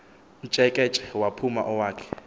mtsheketshe waphuma owakhe